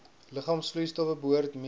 liggaamsvloeistowwe behoort mee